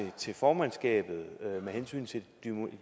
til formandskabet med hensyn til